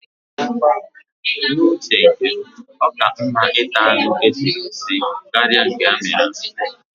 N'uche nke m, ọ ka mma ịta anụ esiri esi karịa nke amịrị amị